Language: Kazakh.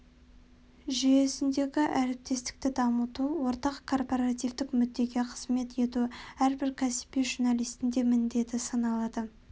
жүйесіндегі әріптестікті дамыту ортақ корпоративтік мүддеге қызмет ету әрбір кәсіби журналистің де міндеті саналады